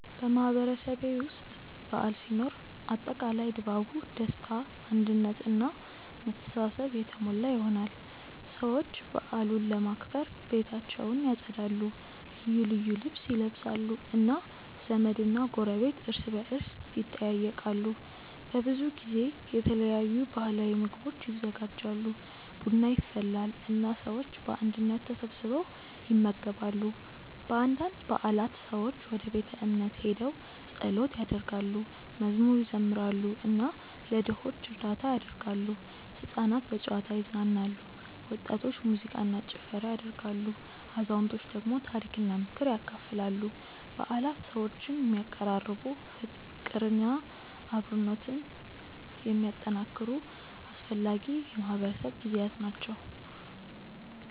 በማህበረሰቤ ውስጥ በዓል ሲኖር አጠቃላይ ድባቡ ደስታ አንድነት እና መተሳሰብ የተሞላ ይሆናል። ሰዎች በዓሉን ለማክበር ቤታቸውን ያጸዳሉ፣ ልዩ ልብስ ይለብሳሉ እና ዘመድና ጎረቤት እርስ በርስ ይጠያየቃሉ። በብዙ ጊዜ የተለያዩ ባህላዊ ምግቦች ይዘጋጃሉ፣ ቡና ይፈላል እና ሰዎች በአንድነት ተሰብስበው ይመገባሉ። በአንዳንድ በዓላት ሰዎች ወደ ቤተ እምነት ሄደው ጸሎት ያደርጋሉ፣ መዝሙር ይዘምራሉ እና ለድሆች እርዳታ ያደርጋሉ። ሕፃናት በጨዋታ ይዝናናሉ፣ ወጣቶች ሙዚቃ እና ጭፈራ ያደርጋሉ፣ አዛውንቶች ደግሞ ታሪክና ምክር ያካፍላሉ። በዓላት ሰዎችን የሚያቀራርቡ፣ ፍቅርና አብሮነትን የሚያጠናክሩ አስፈላጊ የማህበረሰብ ጊዜያት ናቸው።